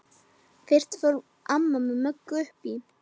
Fyrst fór amma með Möggu upp í